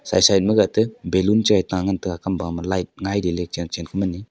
side side magate balloon chae ta ngan tai ga kamba ma light ngaileley chenchen ku mani--